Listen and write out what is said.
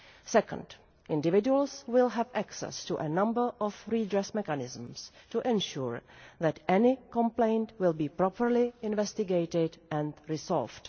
Second, individuals will have access to a number of redress mechanisms to ensure that any complaint will be properly investigated and resolved.